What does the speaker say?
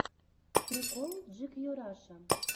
прикол джикью раша